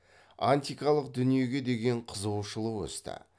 антикалық дүниеге деген қызығушылық өсті